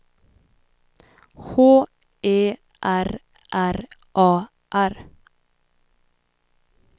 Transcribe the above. H E R R A R